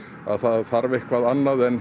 að það þurfi eitthvað annað en